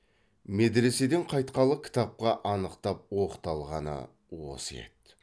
медреседен қайтқалы кітапқа анықтап оқталғаны осы еді